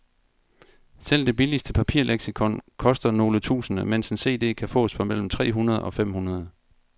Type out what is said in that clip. Selv det billigste papirleksikon koster nogle tusinde, mens en cd kan fås for mellem tre hundrede og fem hundrede.